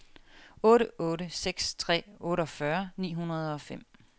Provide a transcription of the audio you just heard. otte otte seks tre otteogfyrre ni hundrede og fem